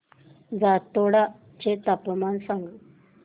जातोडा चे तापमान सांग